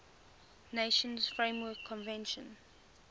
nations framework convention